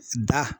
Da